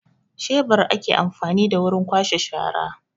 Shebur ake amfani da wurin kwashe shara